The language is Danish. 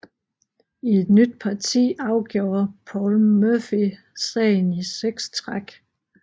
I et nyt parti afjorde Paul Morphy sagen i seks træk